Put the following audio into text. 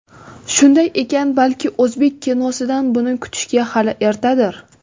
Shunday ekan, balki o‘zbek kinosidan buni kutishga hali ertadir?